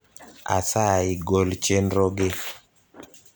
asayi gol chenro gi